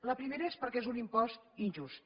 la primera és perquè és un impost injust